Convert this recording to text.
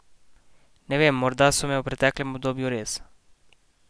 Ne vem, morda so me v preteklem obdobju res.